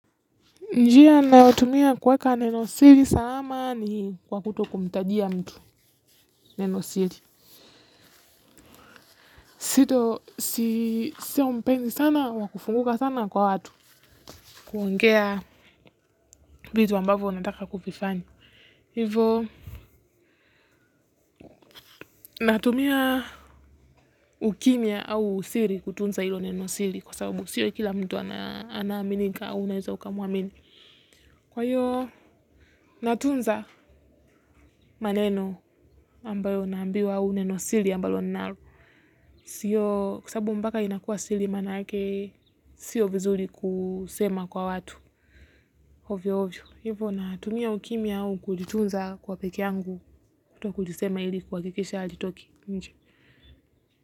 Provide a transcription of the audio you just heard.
Njia nayotumia kueka neno siri salama ni kwa kutokumtajia mtu neno siri. Si tu sio mpendi sana wa kufunguka sana kwa watu kuongea vitu ambavo nataka kuvifanya. Hivo natumia ukimya au siri kutunza hilo neno siri kwa sababu siri kila mtu anaaminika au unaeza ukamwamini. Kwa hiyo natunza maneno ambayo naambiwa au neno siri ambalo nalo. Siyo, kwa sababu mpaka inakua siri maanake siyo vizuri kusema kwa watu, ovyo ovyo. Hivo natumia ukimya au kujitunza kwa peke yangu kutokujisema ili kuhakikisha halitoki nje.